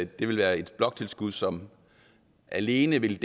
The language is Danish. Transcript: det vil være et bloktilskud som alene vil